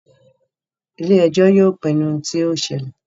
Ile-ẹjọ yóò pinnu ohun ti yóò ṣẹlẹ